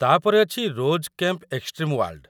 ତା'ପରେ ଅଛି 'rose camp extreme world'.